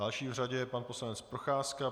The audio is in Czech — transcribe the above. Další v řadě je pan poslanec Procházka.